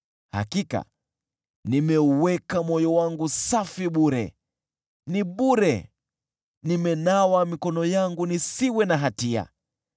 Hakika nimeuweka moyo wangu safi bure, ni bure nimenawa mikono yangu nisiwe na hatia.